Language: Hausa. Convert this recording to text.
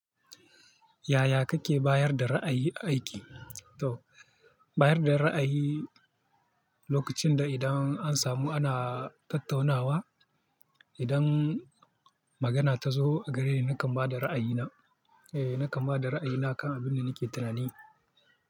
Yaya kake bayar da ra'ayi a aiki? To bayar da ra'ayi lokacin da idan an samu ana tattaunawa. Idan magana ta zo gareni nakan ba da ra'ayina. Eh nakan ba da ra'ayina kan abin da nake tunani.